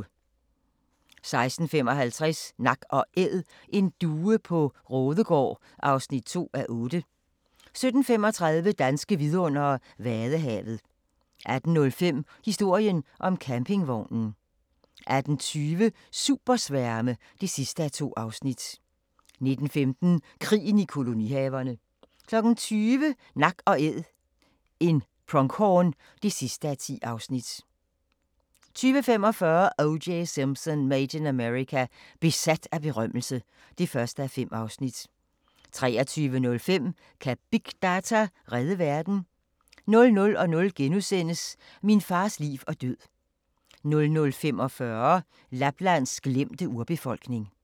16:55: Nak & Æd: En due på Raadegaard (2:8) 17:35: Danske vidundere: Vadehavet 18:05: Historien om campingvognen 18:20: Supersværme (2:2) 19:15: Krigen i kolonihaverne 20:00: Nak & Æd – en pronghorn (10:10) 20:45: O.J. Simpson: Made in America – besat af berømmelse (1:5) 23:05: Kan big data redde verden? 00:00: Min fars liv og død * 00:45: Laplands glemte urbefolkning